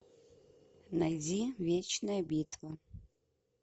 найди вечная битва